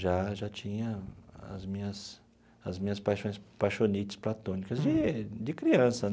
Já já tinha as minhas as minhas paixões, paixonites platônicas, de de criança.